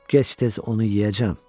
Gec-tez onu yeyəcəm.